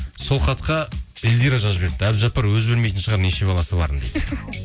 сол хатқа индира жазып жіберіпті әбдіжаппар өзі білмейтін шығар неше баласы барын дейді